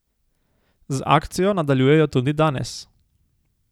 Z akcijo nadaljujejo tudi danes.